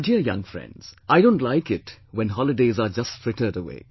My dear young friends, I don't like it when holidays are just frittered away